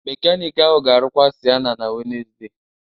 Mekaniki ahụ ga-arụkwa Sienna na Wednesde